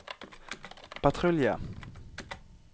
patrulje